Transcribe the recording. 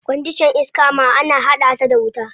Kwandishan iska ma ana hada ta da wuta.